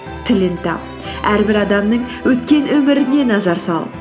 тілін тап әрбір адамның өткен өміріне назар сал